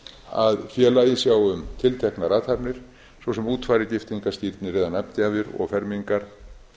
að félagið sjái um tilteknar athafnir svo sem útfarir giftingar skírnir eða nafngjafir og fermingar